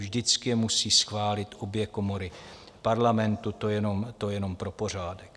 Vždycky je musí schválit obě komory Parlamentu, to jenom pro pořádek.